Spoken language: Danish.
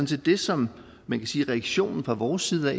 set det som man kan sige er reaktionen fra vores side